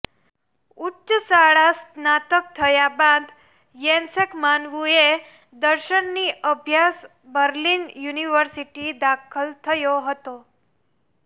ઉચ્ચ શાળા સ્નાતક થયા બાદ યેસેન્ક માનવુંએ દર્શનની અભ્યાસ બર્લિન યુનિવર્સિટી દાખલ થયો હતો